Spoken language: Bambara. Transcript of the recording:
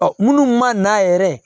munnu ma n'a yɛrɛ